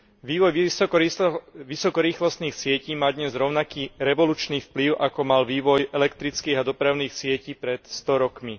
Vývoj vysokorýchlostných sietí má dnes rovnaký revolučný vplyv, ako mal vývoj elektrických a dopravných sietí pred sto rokmi.